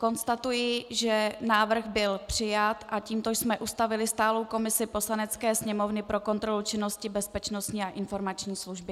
Konstatuji, že návrh byl přijat a tímto jsme ustavili stálou komisi Poslanecké sněmovny pro kontrolu činnosti Bezpečnostní a informační služby.